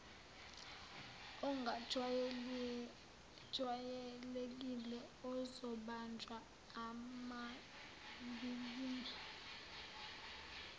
ongajwayelekile ozobanjwa emavikini